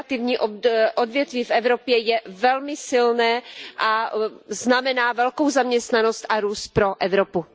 Kreativní odvětví v Evropě je velmi silné a znamená velkou zaměstnanost a růst pro Evropu.